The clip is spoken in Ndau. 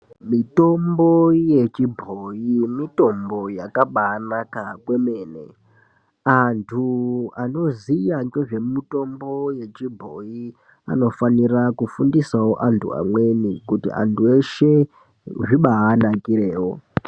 Mitombo yechibhoyi mitombo yakabanaka kwemene antu anoziya nezvemitombo yechibhoyi anofanira kufundisawo amweni kuitira kuti antu eshe zvibanakireyo.